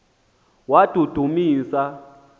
wadudumisa